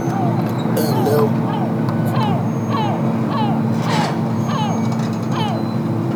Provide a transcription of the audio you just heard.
ẹnlẹ o mo ti gbé ìbéèrè yín yẹwò mo mo sì fẹ fún yín ní ìmọràn kan